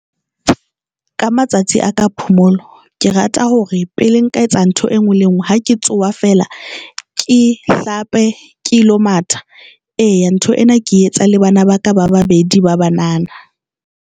Ka matsatsi a ka phomolo, ke rata hore pele nka etsa ntho e nngwe le ngwe, ha ke tsoha fela ke hlape kelo matha eya ena ntho ke etsa le bana ba ka ba babedi ba banana.